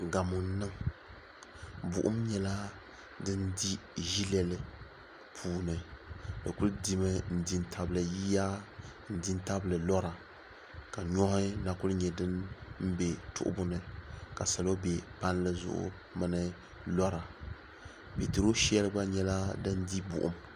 gamo n niŋ din di ʒilɛ puuni di kuli dimi n di tabili yiya n di tabili lora ka nuhi na kuli nyɛ dim bɛ tuɣibuni ka salo bɛ palizuɣ' bɛ puuni lora bɛni pɛturo shɛɛli gba nyɛla din di bogim